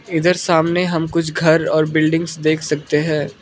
इधर सामने हम कुछ घर और बिल्डिंग्स देख सकते हैं।